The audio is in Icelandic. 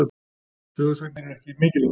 Sögusagnir eru ekki mikilvægar.